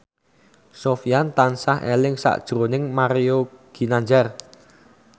Sofyan tansah eling sakjroning Mario Ginanjar